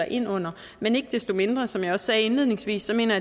ind under men ikke desto mindre som jeg også sagde indledningsvis så mener